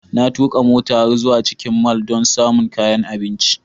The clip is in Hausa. Na tuka mota har zuwa cikin mall don samun kayan abinci.